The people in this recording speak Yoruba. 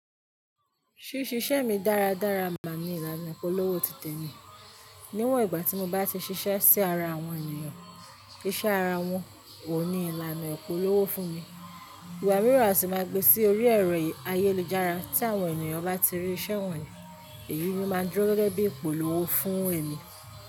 Ṣíṣe iṣẹ́ mi dáradára máa ni ìlànà ìpolówó titemi. Níwọ̀n ìgbà tí mo bá ti ṣiṣẹ́ sí ara àwọn ènìyàn, iṣẹ́ ara wọn ò ní ìlànà ìpolówó fún mi. Ìgbà mìíràn à sì máa gbe sí orí ẹ̀rọ ayélujára tí àwọn ènìyàn bá ti rí iṣẹ́ wọ̀nyí, èyí ni máa dúró gẹ́gẹ́ bí ìpolówó fún èmi.